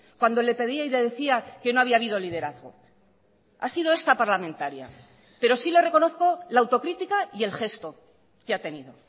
cuando le pedía y le decía que no había habido liderazgo ha sido esta parlamentaria pero sí le reconozco la autocrítica y el gesto que ha tenido